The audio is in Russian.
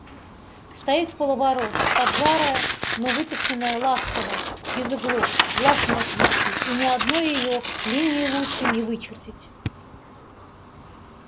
стоит вполоборота поджара но выточенная ласково без углов глаз не отвести и ни одной её линии лучше не вычертить